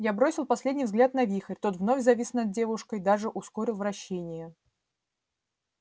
я бросил последний взгляд на вихрь тот вновь завис над девушкой даже ускорил вращение